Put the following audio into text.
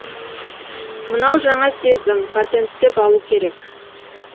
мынау жаңа сезім патенттеп алу керек